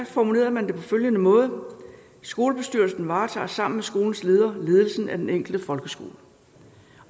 formulerede man det på følgende måde skolebestyrelsen varetager sammen med skolens leder ledelsen af den enkelte folkeskole